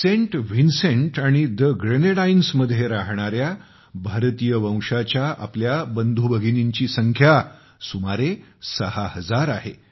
Saint Vincent आणि the ग्रेनेडाइन्समध्ये राहणाऱ्या भारतीय वंशाच्या आपल्या बंधू भगिनींची संख्या सुमारे सहा हजार आहे